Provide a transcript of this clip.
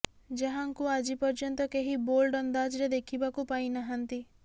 ଯାହାଙ୍କୁ ଆଜି ପର୍ଯ୍ୟନ୍ତ କେହି ବୋଲ୍ଡ ଅନ୍ଦାଜରେ ଦେଖିବାକୁ ପାଇ ନାହନ୍ତି